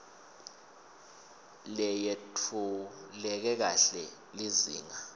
leyetfuleke kahle lizinga